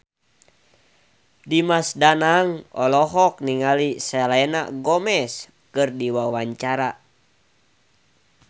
Dimas Danang olohok ningali Selena Gomez keur diwawancara